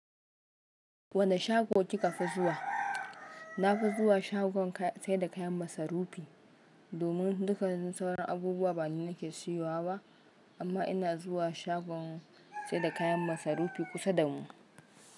Wane shago kika fi zuwa? Na fi zuwa shagon saida kayan masarufi. Domin dukkanin sauran abubuwa ba ni nike siyowa ba. Amma ina zuwa shagon saida kayan masarufi kusa damu.